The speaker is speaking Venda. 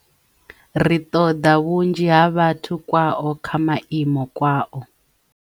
Ri ṱoḓa vhunzhi ha vhathu kwao kha maimo kwao.